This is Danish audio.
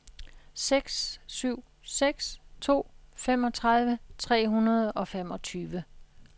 seks syv seks to femogtredive tre hundrede og femogtyve